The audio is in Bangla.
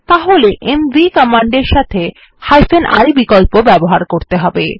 তাহলে এমভি কমান্ডের সাথে i বিকল্প ব্যবহার করতে হবে